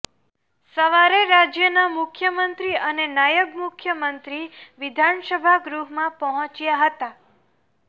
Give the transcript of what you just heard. સવારે રાજયના મુખ્યમંત્રી અને નાયબ મુખ્યમંત્રી વિધાનસભા ગૃહમાં પહોંચ્યા હતા